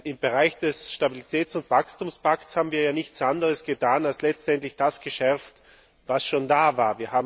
Im Bereich des Stabilitäts und Wachstumspakts haben wir ja nichts anderes getan, als letztendlich das zu verschärfen, was schon da war.